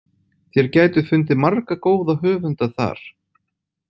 Þér gætuð fundið marga góða höfunda þar.